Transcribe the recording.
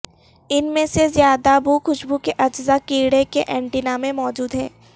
ان میں سے زیادہ بو خوشبو کے اجزاء کیڑے کے اینٹینا میں موجود ہیں